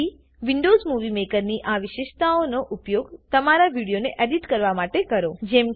તેથી Windows movie મેકરની આ વિશેષતાઓનો ઉપયોગ તમારા વિડીયોને એડિટ કરવા માટે કરો